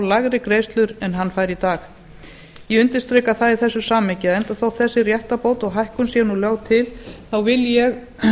lægri greiðslur en hann fær í dag ég undirstrika það í þessu samhengi að enda þótt þessi réttarbót og hækkun sé nú lögð til vil ég